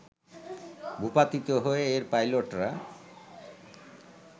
ভূপাতিত হয়ে এর পাইলটরা